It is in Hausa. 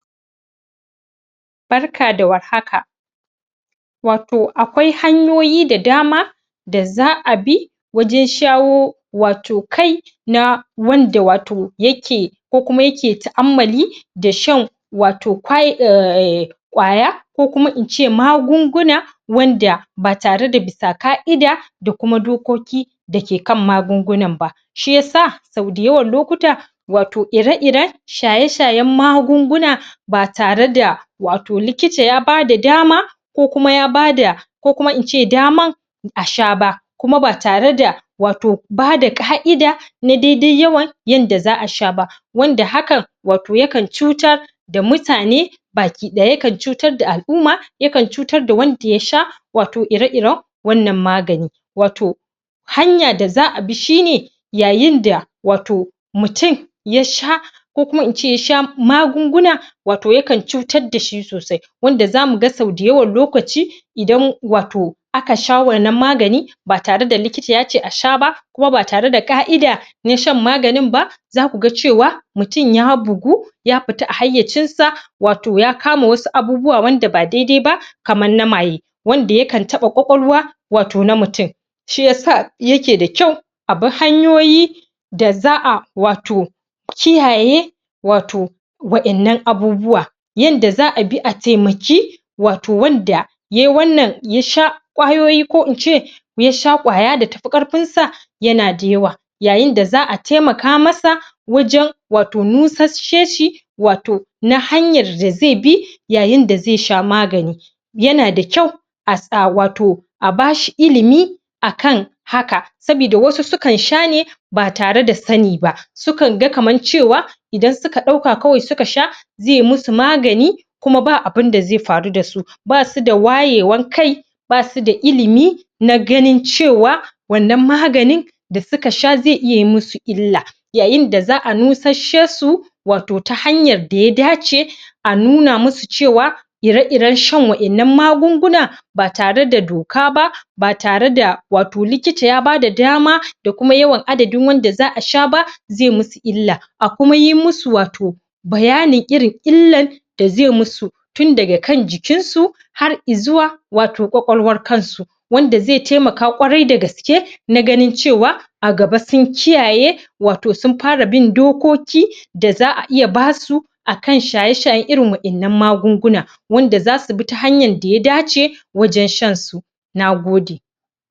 Barka da warhaka wato akwai hanyoyi da dama da za a bi wajen shawo wato kai na wanda wato yake ko kuma yake ta'ammali da shan wato kwa eh ƙwaya ko kuma in ce magunguna wanda ba tare da bisa ƙa'ida da kuma dokoki da ke kan magungunan ba. Shi ya sa sau da yawan lokuta wato ire-iren shaye-shayen magunguna ba tare da wato likita ya bada dama ko kuma ya bada ko kuma in ce daman a sha ba kuma ba tare da ba da ƙa'ida na dai-dai yawan wanda za a sha ba wanda hakan wato yakan cutar da mutane ba ki ɗaya yakan cutar da al'umma yakan cutar da wanda ya sha wato ire-iren wannan magani. Wato Hanya da za abi shi ne yayin da wato mutum ya sha ko kuma in ce ya sha magunguna yakan cutar da shi sosai wanda za mu ga sauda yawan lokacin idan aka sha wato wannna magani ba tare da likita ya ce a sha ba, kuma ba tare da ƙa'ida na shan maganin ba, za ku ga cewa mutum ya bugu ya fita a hayyacinsa wato ya kama wasu abubuwa wanda ba dai-dai ba, kamar na maye. Wanda yakan taɓa ƙwaƙwalwa wato na mutum. Shi ya sa yake da kyau a bi hanyoyi da za a wato kiyaye wato wa'innan abubuwa. Yanda za a bi a taimaki wato wanda yai wannan ya sha ƙwayoyi ko in ce ya sha ƙwaya da ta fi ƙarfinsa yana da yawa Yayin da za a taimaka masa wajen nusasseshi wato na hanyar da zai bi yayin da zai sha magani Yana da kyau a sa wato a bashi ilimi a kan haka. Saboda wasu sukan sha ne ba tare da sani ba. Sukan ga kamar cewa Idan suka ɗauka suka sha zai musu magani kuma ba abun da zai faru da su. Ba su da wayewan kai ba su da ilimi na ganin cewa wannan maganin da suka sha zai iya yi musu illa. Yayin da za a nusasshesu wato ta hanyar da ya dace a nuna musu cewa ire-iren shan wa'inanna magunguna ba tare da doka ba ba tare da wato likita ya bada dama da kuma yawan adadin wanda za a sha ba, zai musu illa. A kuma yi musus wato bayanin irin illar da zai musu Tun daga kan jikinsu hai i zuwa ƙwaƙwalwar kansu Wanda zai taimaka ƙwarai da gaske na ganin cewa a gaba sun kiyaye. wato sun fara bin dokoki da za a ba su a kan shaye-shaye a irin wa'innan magungunan. wanda za su bi ta hanyar da ya dace wajen shan su na gode.